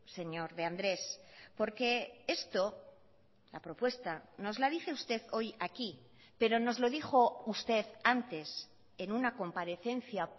señor de andrés porque esto la propuesta nos la dice usted hoy aquí pero nos lo dijo usted antes en una comparecencia